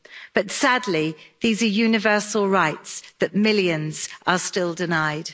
But sadly, these are universal rights that millions are still denied.